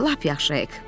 Lap yaxşı, Hek.